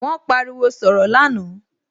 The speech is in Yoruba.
Wón pariwo sọ̀rọ̀ lánàá